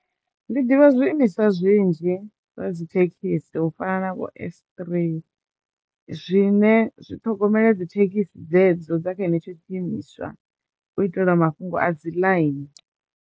Ndi ḓivha zwiimiswa zwinzhi zwa dzi thekhisi u fana na vho S three zwine zwi ṱhogomela dzi thekhisi dzedzo dza kha dze ne tsho tshi imiswa u itelwa mafhungo a dzi ḽaini.